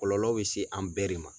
Kɔlɔlɔ bɛ se an bɛɛ de ma.